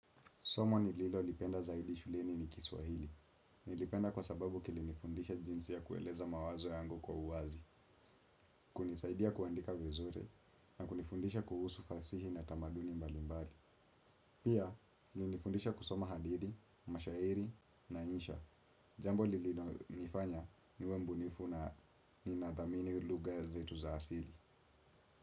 Somo nililo lipenda zaidi shuleni ni kiswahili. Nilipenda kwa sababu kilinifundisha jinsi ya kueleza mawazo yango kwa uwazi, kunisaidia kuandika vizuri, na kunifundisha kuhusu fasihi na tamaduni mbali mbali. Pia, ilinifundisha kusoma hadithi, mashairi, na insha. Jambo lililo nifanya niwe mbunifuna ni nadhamini lugha zetu za asili.